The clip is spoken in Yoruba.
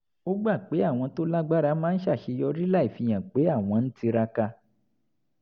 ó gbà pé àwọn tó lágbára máa ń ṣàṣeyọrí láì fihàn pé àwọn ń tiraka